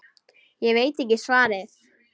Ég veit ekki svarið.